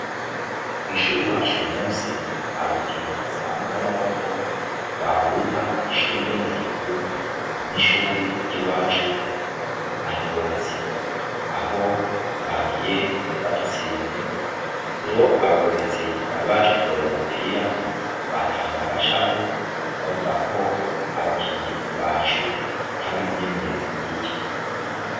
Kwishure iwacu uyu musi hari urukino rudasanzwe rwamaboko rwahuza ishure ryo murutovu nishure ryiwacu aha ingozi aho bagiye badutsinze rero abarorerezi bari baje kurorera uwo mupira batahanye agashavu bavuga ko abakinyi bacu batagize imyimenyerezo ikwiye